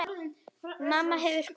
Mamma hefur kvatt.